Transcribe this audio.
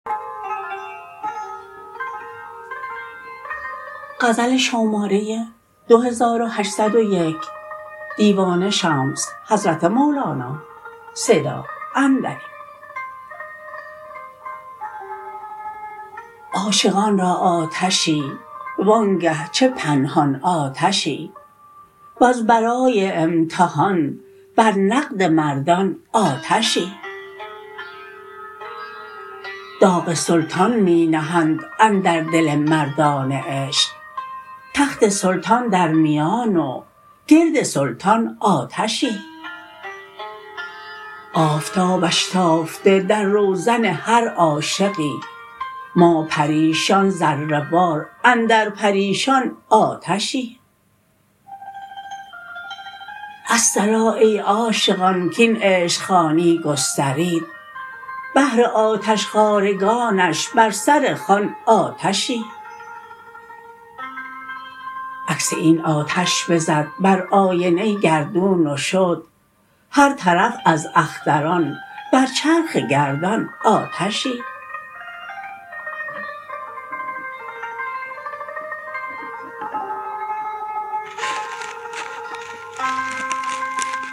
عاشقان را آتشی وآنگه چه پنهان آتشی وز برای امتحان بر نقد مردان آتشی داغ سلطان می نهند اندر دل مردان عشق تخت سلطان در میان و گرد سلطان آتشی آفتابش تافته در روزن هر عاشقی ما پریشان ذره وار اندر پریشان آتشی الصلا ای عاشقان کاین عشق خوانی گسترید بهر آتشخوارگانش بر سر خوان آتشی عکس این آتش بزد بر آینه گردون و شد هر طرف از اختران بر چرخ گردان آتشی